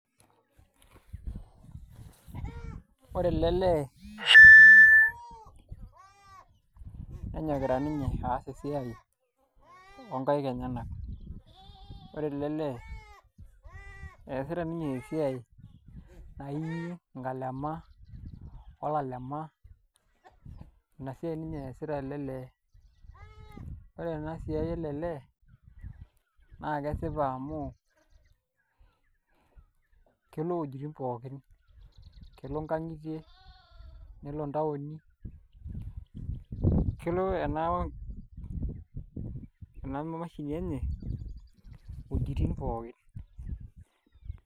Ore ele lee nenyokita ninye aas esiai oonkaik enyenak, ore ele lee eesita ninye esiai naaii inkalema olalema ina siai ninye eesita ele lee naa ore ena siai ele lee naa kesipa amu kelo uwuejitin pookin, kelo nkang'itie nelo ntaoni kelo ena mashini enye iwuejitin pookin.